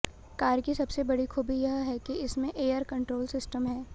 car की सबसे बड़ी खूबी यह है कि इसमें एयर कंट्रोल सिस्टम है